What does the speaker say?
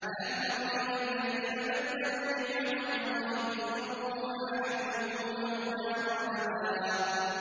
۞ أَلَمْ تَرَ إِلَى الَّذِينَ بَدَّلُوا نِعْمَتَ اللَّهِ كُفْرًا وَأَحَلُّوا قَوْمَهُمْ دَارَ الْبَوَارِ